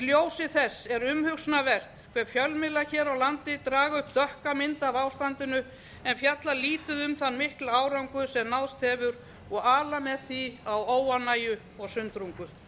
ljósi þess er umhugsunarvert hve fjölmiðlar hér á landi draga upp dökka mynd af ástandinu en fjalla lítið um þann mikla árangur sem náðst hefur og ala með því á óánægju og sundrungu